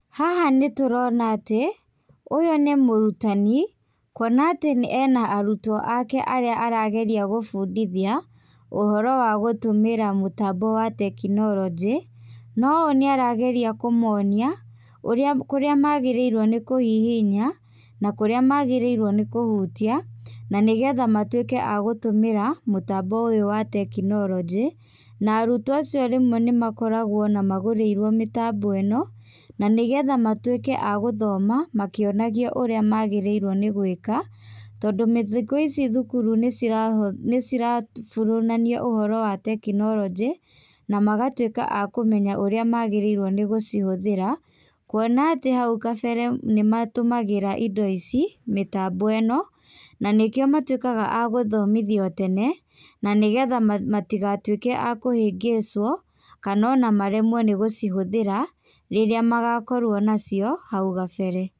Haha nĩ tũrona atĩ, ũyũ nĩ mũrutani, kwona atĩ ena arutwo ake arĩa arageria kũbũndithia ũhoro wa gũtũmĩra mũtambo wa tekinoronjĩ. Noyũ nĩ arageria kũmonia, kũrĩa magĩrĩirwo nĩ kũhihinya, na kũrĩa magĩrĩirwo nĩ kũhutia, na nĩgetha matuũke agũtũmĩra mũtambo ũyũ wa tekinoronjĩ, na arutwo acio rĩmwe nĩ makoragũo ona magũrĩirwo mĩtambo ĩno, na nĩgetha matuĩke a gũthoma, makĩonagio ũrĩa magĩrĩirwo nĩ gũĩka. Tondũ thikũ ici thukuru nĩ irabundithania ũhoro wa tekinoronjĩ, na magatuĩka a kũmenya ũrĩa magĩrĩirwo nĩ gũcihũthĩra, kwona atĩ haũ kabere nĩ matũmagĩra mĩtambo ĩno, na nĩkĩo matuĩkaga a gũthomĩthio tene, na nĩgetha matigatuĩke a kũhĩngĩcwo, kana ona maremwo nĩ gũcihũthĩra rĩrĩa magakorwo macio hau kabere.